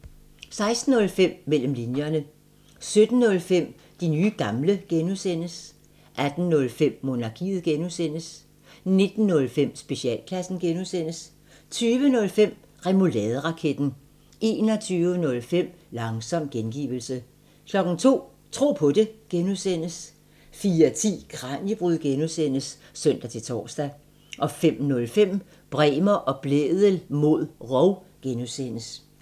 16:05: Mellem linjerne 17:05: De nye gamle (G) 18:05: Monarkiet (G) 19:05: Specialklassen (G) 20:05: Remouladeraketten 21:05: Langsom gengivelse 02:00: Tro på det (G) 04:10: Kraniebrud (G) (søn-tor) 05:05: Bremer og Blædel mod rov (G)